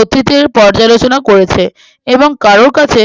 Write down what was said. অতীতের পর্যালোচনা করেছে এবং কারোর কাছে